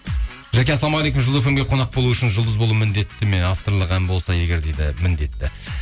жәке ассалаумағалейкум жұлдыз фм ге қонақ болу үшін жұлдыз болу міндетті ме авторлық ән болса егер дейді міндетті